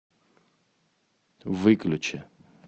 выключи